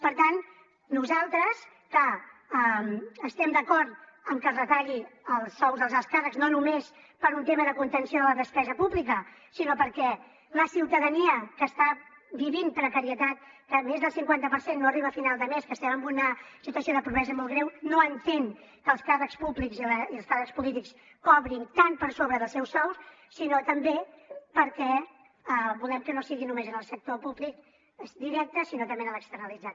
per tant nosaltres que estem d’acord en que es retallin els sous dels alts càrrecs no només per un tema de contenció de la despesa pública sinó perquè la ciutadania que està vivint precarietat que més del cinquanta per cent no arriba a final de mes que estem en una situació de pobresa molt greu no entén que els càrrecs públics i els càrrecs polítics cobrin tant per sobre dels seus sous i també perquè volem que no sigui només en el sector públic directe sinó també en l’externalitzat